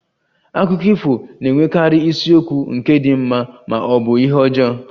Akụkọ ifo na-enwekarị isiokwu nke di mma ma ọ bụ ihe ọjọọ